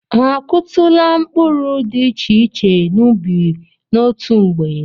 Ha akụtụla mkpụrụ dị iche iche n'ubi n'otu mgbe?